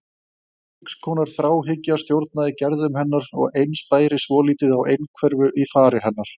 Margs konar þráhyggja stjórnaði gerðum hennar og eins bæri svolítið á einhverfu í fari hennar.